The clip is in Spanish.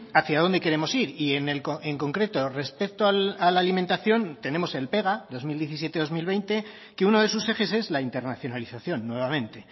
hacia dónde queremos ir y en concreto respecto a la alimentación tenemos el pega dos mil diecisiete dos mil veinte que uno de sus ejes es la internacionalización nuevamente